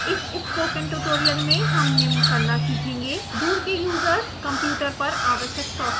इस spoken tutorial में हम निम्न करना सीखेंगे दूर के यूज़र्स कंप्यूटर पर आवश्यक सॉफ्टवेर संस्थापन